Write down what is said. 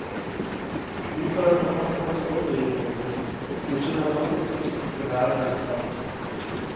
Godtar en forfatterens overbevisning, godkjenner en alltids også det litterære resultat.